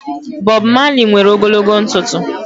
Bob Malị nwere ogologo ntụtụ